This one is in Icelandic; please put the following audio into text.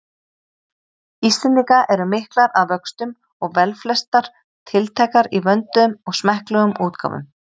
Íslendinga eru miklar að vöxtum og velflestar tiltækar í vönduðum og smekklegum útgáfum.